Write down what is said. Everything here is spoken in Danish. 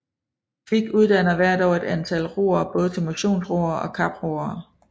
Kvik uddanner hvert år et antal roere både til motionsroere og kaproere